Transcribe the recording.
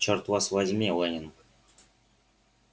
чёрт вас возьми лэннинг